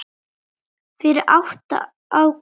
Fyrir átti Ágúst eitt barn.